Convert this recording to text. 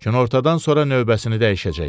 Günortadan sonra növbəsini dəyişəcək.